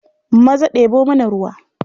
Maza ɗebo mana ruwa.